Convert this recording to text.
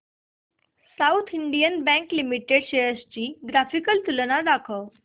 south Indian Bank Limited shares ची graphical तुलना दाखव